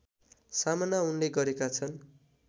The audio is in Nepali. सामना उनले गरेका छन्